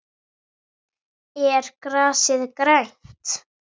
Er grasið grænt?